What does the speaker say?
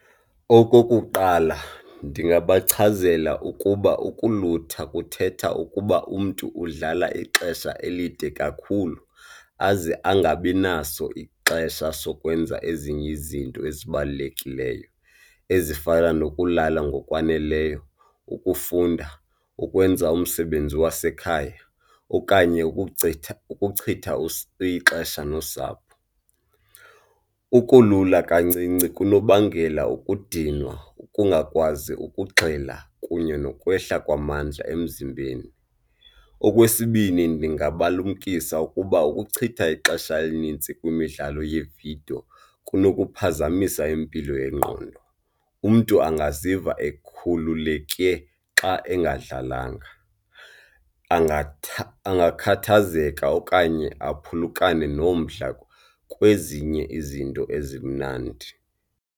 Okokuqala, ndingabachazela ukuba ukulutha kuthetha ukuba umntu udlala ixesha elide kakhulu aze angabinaso ixesha sokwenza ezinye izinto ezibalulekileyo, ezifana nokulala ngokwaneleyo, ukufunda, ukwenza umsebenzi wasekhaya okanye ukuchitha, ukuchitha ixesha nosapho. Ukulula kancinci kunobangela ukudinwa, ukungakwazi ukugxila kunye nokwehla kwamandla emzimbeni. Okwesibini, ndingabalumkisa ukuba ukuchitha ixesha elinintsi kwimidlalo yeevidiyo kunokuphazamisa impilo yengqondo, umntu angaziva ekhululekile xa engadlalanga, angakhathazeka okanye aphulukane nomdla kwezinye izinto ezimnandi.